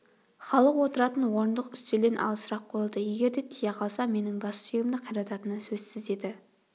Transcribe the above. халық отыратын орындық үстелден алысырақ қойылды егер де тие қалса менің бас сүйегімді қирататыны сөзсіз еді